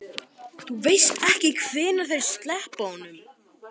Þú veist ekkert hvenær þeir sleppa honum?